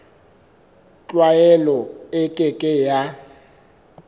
tlwaelo e ke ke ya